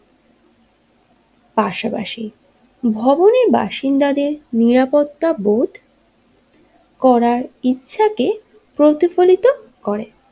পাশাপাশি ভবনের বাসিন্দাদের নিরাপত্তা বোধ করার ইচ্ছাকে প্রতিফলিত করে।